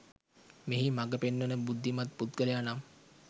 මෙහි මඟ පෙන්වන බුද්ධිමත් පුද්ගලයා නම්